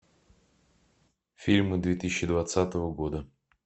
фильмы две тысячи двадцатого года